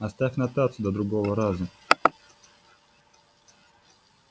оставь нотацию до другого раза